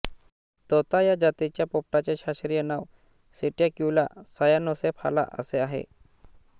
तोता या जातीच्या पोपटाचे शास्त्रीय नाव सिटॅक्युला सायानोसेफाला असे आहे